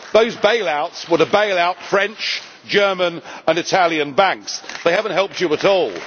Those bailouts were to bail out French, German and Italian banks they have not helped you at all.